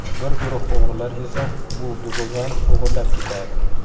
Bir guruh o‘g‘rilar esa bu dubulg‘ani o‘g‘irlab ketadi.